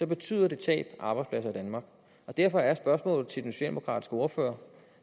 betyder tab af arbejdspladser i danmark derfor er spørgsmålet til den socialdemokratiske ordfører